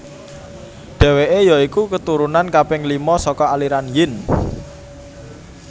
Dheweke ya iku keturunan kaping lima saka aliran Yin